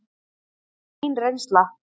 Það er mín reynsla.